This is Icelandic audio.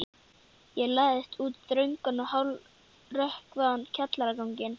Ég læðist út þröngan og hálfrökkvaðan kjallaraganginn.